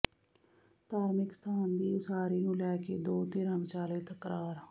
ਧਾਰਮਿਕ ਸਥਾਨ ਦੀ ਉਸਾਰੀ ਨੂੰ ਲੈ ਕੇ ਦੋ ਧਿਰਾਂ ਵਿਚਾਲੇ ਤਕਰਾਰ